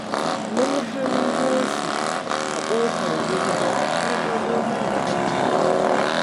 Mun hango shi a ƙofar gida har ɗago mana hannu ya yi